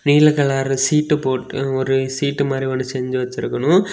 நீல கலர் சீட்டு போட்டு ஒரு சீட்டு மாதிரி ஒன்னு செஞ்சு வெச்சிருக்கணும்.